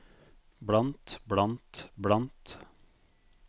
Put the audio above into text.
blant blant blant